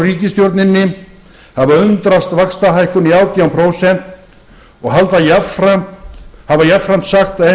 ríkisstjórninni hafa undrast vaxtahækkun í átján prósent og hafa jafnframt sagt að